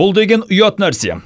бұл деген ұят нәрсе